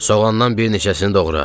Soğandan bir neçəsini doğra.